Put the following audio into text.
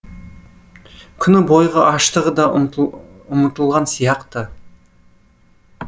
күні бойғы аштығы да ұмытылған сияқты